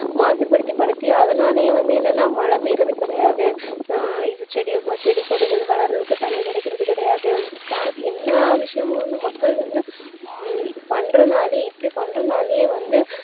மாசுபடுத்தி படுத்தி அதனாலயே வந்து என்னன்னா மழை பெய்யுறது கிடையாது ஆஹ் செடி செடி கொடிகள் வளர்றதுக்கு தண்ணீர் கிடைக்குறது கிடையாது எல்லா விஷயமும் வந்து மக்கள் வந்து உம் பண்றதுனால இப்படி பண்றதுனாலயே வந்து